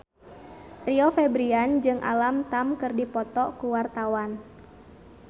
Rio Febrian jeung Alam Tam keur dipoto ku wartawan